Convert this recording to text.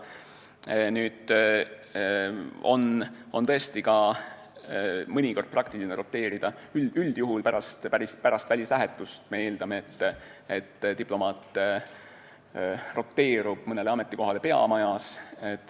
Aga mõnikord on tõesti praktiline roteeruda üldjuhul pärast välislähetust – me eeldame, et diplomaat asub mõnele ametikohale peamajas.